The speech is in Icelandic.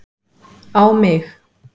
á mig.